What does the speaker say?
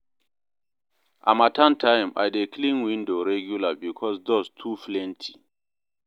Harmattan time, I dey clean window regular because dust too plenty.